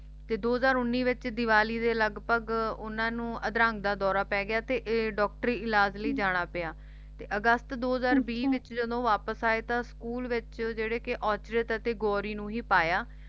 ਤੇ ਦੋ ਹਜ਼ਾਰ ਉੱਨੀ ਦੇ ਵਿਚ ਦੀਵਾਲੀ ਦੇ ਲਗਭਗ ਉਨ੍ਹਾਂ ਨੂੰ ਅਧਰੰਗ ਦਾ ਦੌਰਾ ਪੈ ਗਿਆ ਤੇ ਡਾਕਟਰੀ ਇਲਾਜ਼ ਲਈ ਜਾਣਾ ਪਿਆ ਤੇ ਅਗਸਤ ਦੋ ਹਜ਼ਾਰ ਵੀਹ ਵਿਚ ਜਦੋ ਉਹ ਵਾਪਿਸ ਆਏ ਤਾਂ school ਵਿਚ ਜਿਹੜੇ ਕਿ ਔਰਚਿਤ ਅਤੇ ਗੌਰੀ ਨੂੰ ਹੀ ਪਾਇਆ